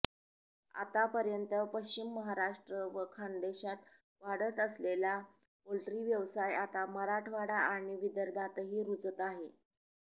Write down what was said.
आतापर्यंत पश्चिम महाराष्ट्र व खानदेशात वाढत असलेला पोल्ट्री व्यवसाय आता मराठवाडा आणि विदर्भातही रुजत आहे